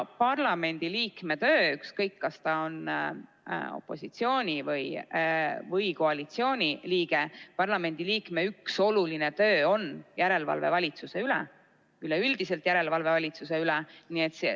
Parlamendiliikme töö, ükskõik, kas ta on opositsiooni või koalitsiooni liige, tema üks oluline töö on järelevalve valitsuse üle, üleüldine järelevalve valitsuse üle.